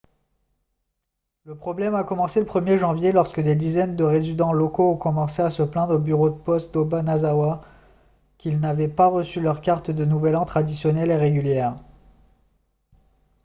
le problème a commencé le 1er janvier lorsque des dizaines de résidents locaux ont commencé à se plaindre au bureau de poste d'obanazawa qu'ils n'avaient pas reçu leurs cartes de nouvel an traditionnelles et régulières